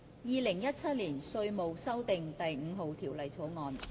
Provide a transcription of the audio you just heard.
《2017年稅務條例草案》。